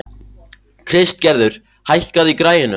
Kristgerður, hækkaðu í græjunum.